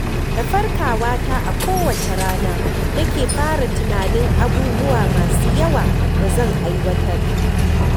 Da farkawata a kowace rana nake fara tunanin abubuwa masu yawa da zan aiwatar